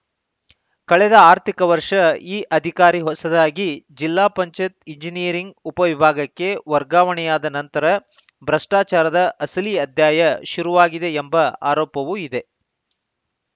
ಕಳೆದ ಆರ್ಥಿಕ ವರ್ಷ ಈ ಅಧಿಕಾರಿ ಹೊಸದಾಗಿ ಜಿಲ್ಲಾ ಪಂಚಾಯತ್ ಎಂಜಿನಿಯರಿಂಗ್‌ ಉಪವಿಭಾಗಕ್ಕೆ ವರ್ಗಾವಣೆಯಾದ ನಂತರ ಭ್ರಷ್ಟಾಚಾರದ ಅಸಲೀ ಅಧ್ಯಾಯ ಶುರುವಾಗಿದೆ ಎಂಬ ಆರೋಪವೂ ಇದೆ